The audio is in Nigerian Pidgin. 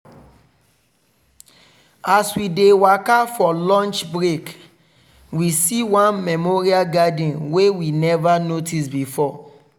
as we dey waka for lunch break we see one memorial garden wey we never notice before.